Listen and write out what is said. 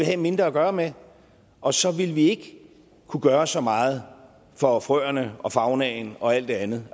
have mindre at gøre med og så ville vi ikke kunne gøre så meget for frøerne og faunaen og alt det andet